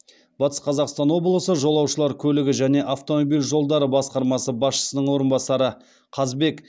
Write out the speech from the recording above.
батыс қазақстан облысы жолаушылар көлігі және автомобиль жолдары басқармасы басшысының орынбасары қазбек